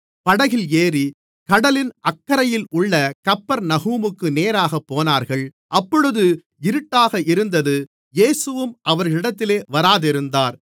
படகில் ஏறி கடலின் அக்கரையிலுள்ள கப்பர்நகூமுக்கு நேராக போனார்கள் அப்பொழுது இருட்டாக இருந்தது இயேசுவும் அவர்களிடத்தில் வராதிருந்தார்